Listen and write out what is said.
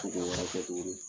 wɛrɛ kɛ tuguni.